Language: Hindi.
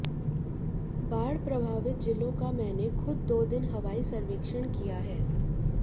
बाढ प्रभावित जिलों का मैंने खुद दो दिन हवाई सर्वेक्षण किया है